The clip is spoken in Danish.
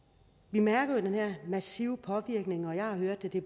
vi mærker jo den her massive påvirkning og jeg har hørt at det